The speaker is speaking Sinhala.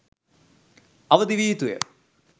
අවදි විය යුතුය.